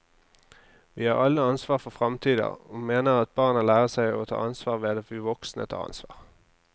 Vi har alle ansvar for framtida, og mener at barna lærer seg å ta ansvar ved at vi voksne tar ansvar.